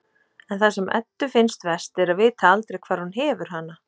En það sem Eddu finnst verst er að vita aldrei hvar hún hefur hana.